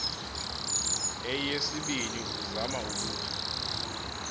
eyesibini uzama ukuthi